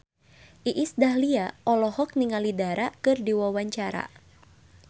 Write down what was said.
Iis Dahlia olohok ningali Dara keur diwawancara